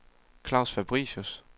Claus Fabricius